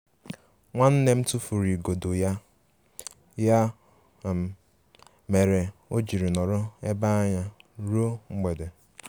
Nwannem tufụrụ igodo ya, ya um mere ojiri nọrọ ebe anya ruo mgbede.